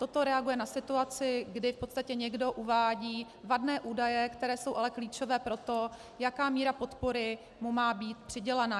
Toto reaguje na situaci, kdy v podstatě někdo uvádí vadné údaje, které jsou ale klíčové pro to, jaká míra podpory mu má být přidělena.